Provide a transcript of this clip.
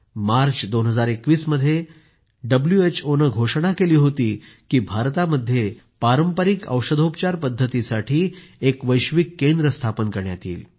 मार्च 2021 मध्ये डब्ल्यूएचओने घोषणा केली होती की भारतामध्ये पारंपरिक औषधोपचार पद्धतीसाठी एक वैश्विक केंद्र स्थापन करण्यात येईल